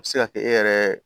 A bɛ se ka kɛ e yɛrɛ